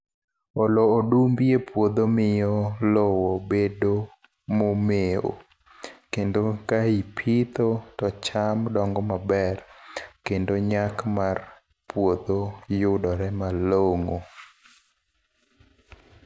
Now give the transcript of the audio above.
Olo odumbi e puodho miyo lowo bedo momeo. Kendo ka ipitho to cham dongo maber, kendo nyak mar puodho yudore malongó.